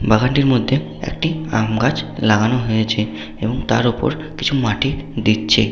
বাগানটির মধ্যে একটি আমগাছ লাগানো হয়েছে এবং তার ওপর কিছু মাটি দিচ্ছে।